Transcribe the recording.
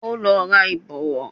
Ó lọ ra Ìbọ̀wọ́